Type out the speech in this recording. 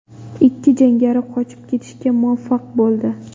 Ikki jangari qochib ketishga muvaffaq bo‘ldi.